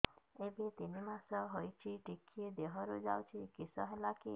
ଏବେ ତିନ୍ ମାସ ହେଇଛି ଟିକିଏ ଦିହରୁ ଯାଉଛି କିଶ ହେଲାକି